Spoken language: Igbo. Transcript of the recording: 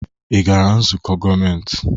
Ị gara nzukọ gọọmentị?